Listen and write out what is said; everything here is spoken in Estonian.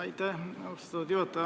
Aitäh, austatud juhataja!